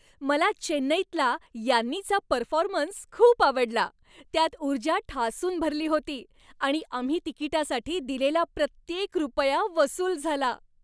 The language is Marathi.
मला चेन्नईतला यान्नीचा परफॉर्मन्स खूप आवडला. त्यात ऊर्जा ठासून भरली होती आणि आम्ही तिकिटासाठी दिलेला प्रत्येक रुपया वसूल झाला.